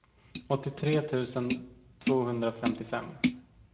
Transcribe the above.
åttiotre tusen tvåhundrafemtiofem